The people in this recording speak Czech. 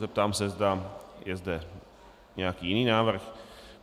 Zeptám se, zda je zde nějaký jiný návrh.